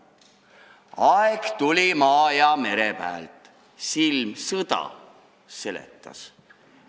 " Aeg tuli, maa ja mere pääl silm sõda seletas.